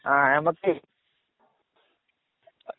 നമുക്കേ